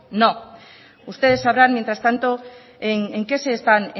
no ustedes sabrán mientras tanto en qué se están